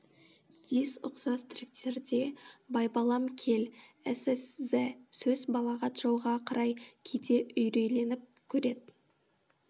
дисс ұқсас тректерде байбалам кел сс з сөз балағат жауға қарай кейде үйрейленіп көред